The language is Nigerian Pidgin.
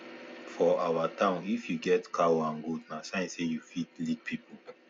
for our town if you get cow and goat na sign say you fit lead people